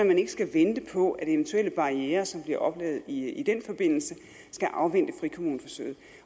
man ikke skal vente på at eventuelle barrierer som bliver oplevet i den forbindelse skal afvente frikommuneforsøgene